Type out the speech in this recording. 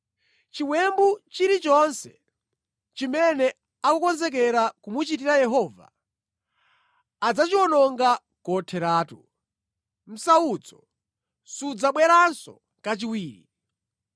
Chiwembu chilichonse chimene akukonzekera kumuchitira Yehova adzachiwononga kotheratu; msautso sudzabweranso kachiwiri.